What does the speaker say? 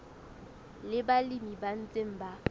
le balemi ba ntseng ba